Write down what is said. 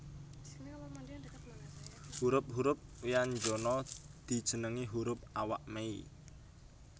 Hurup hurup wyanjana dijenengi hurup awak mei